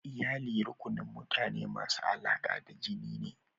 Iyalli rukunin mutane masu alaƙa da jini ne.